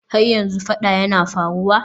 Har yanzu fada yana faruwa?